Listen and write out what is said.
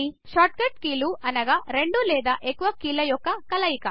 short cut కీలు అనగా రెండు లేదా ఎక్కువ కీలు యొక్క కలయిక